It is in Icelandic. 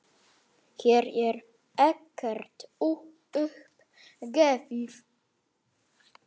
Hér er ekkert upp gefið.